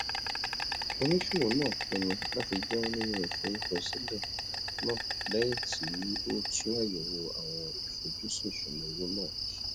oníṣòwò náà pinnu láti jáwọ nínú ìforúkọsílẹ náà lẹyìn tí ó tún àyèwò àwọn ìfojúsùn ìṣúnná owó rẹ ṣe